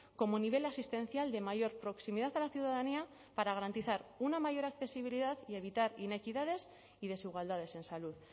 como nivel asistencial de mayor proximidad a la ciudadanía para garantizar una mayor accesibilidad y evitar inequidades y desigualdades en salud